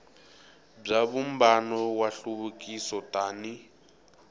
bya vumbano wa nhluvukiso tani